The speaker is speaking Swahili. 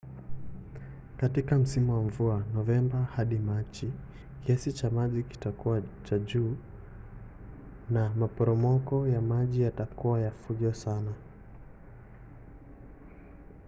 katika msimu wa mvua novemba hadi machi kiasi cha maji kitakuwa cha juu na maporomoko ya maji yatakuwa ya fujo sana